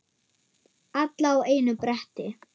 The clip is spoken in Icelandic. Alla á einu bretti.